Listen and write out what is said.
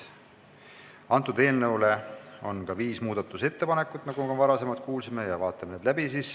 Eelnõu kohta on tehtud ka viis muudatusettepanekut, nagu me juba kuulsime, ja vaatame nad siis läbi.